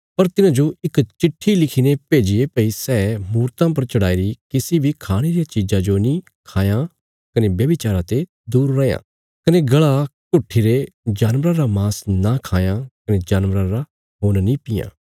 पर तिन्हांजो इक चिट्ठी लिखीने भेजिये भई सै मूर्तां पर चढ़ाईरी किसी बी खाणे रिया चीज़ा जो नीं खायां कने व्यभिचारा ते दूर रैयां कने गल़ा घुट्ठीरे जानवरा रा मांस नां खाये कने जानवरा रा खून्न नीं पीये